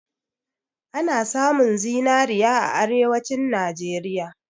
Ana samun zinari a Arewacin Najeriya.